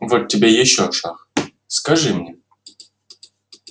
вот тебе ещё шах скажи мне